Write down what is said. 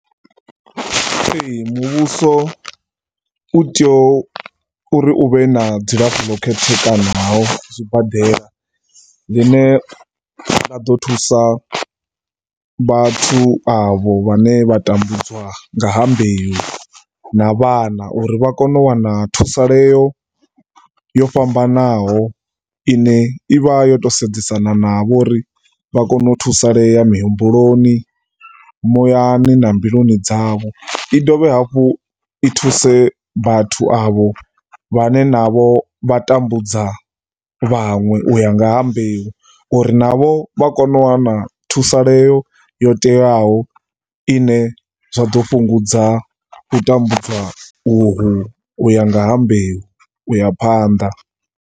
Ee, muvhuso u tea uri u vhe na dzilafho ḽo khethekanaho zwibadela ḽine ḽa ḓo thusa vhathu avho vhane vha tambudzwa nga ha mbeu na vhana uri vha kone u wana thusaleo yo fhambanaho i ne i vha yo tou sedzesana navho uri vha kone u thusalea mihumbuloni, muyani na mbiluni dzavho. I dovhe hafhu i thuse vhathu avho vhane vha tambudza vhaṅwe vhane u ya nga ha mbeu uri navho vha kone u wana thusaleo yo teaho i ne zwa ḓo fhungudza u tambudzwa uhu u ya nga ha mbeu, u ya phanḓa.